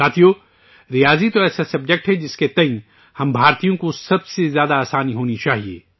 ساتھیو، ریاضی تو ایسا سبجیکٹ ہے جسے لے کر ہم ہندوستانیوں کو سب سے زیادہ آسانی محسوس کرنی چاہیے